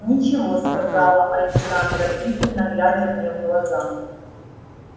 ничего сказала александра пристально глядя мне в глаза